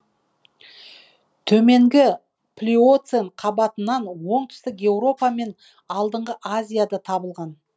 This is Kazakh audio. төменгі плиоцен қабатынан оңтүстік еуропа мен алдыңғы азияда табылған